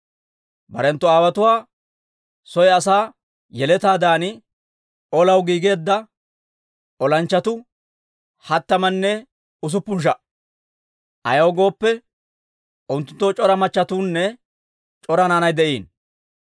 Barenttu aawotuwaa soy asaa yeletaadan olaw giigeedda olanchchatuu hattamanne usuppun sha"a; ayaw gooppe, unttunttoo c'ora machchetuunne c'ora naanay de'iino.